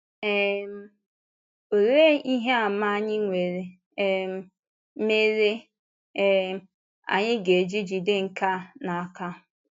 um Òlee ihe àmà anyị nwere um mere um anyị ga-eji jide nke a n’aka?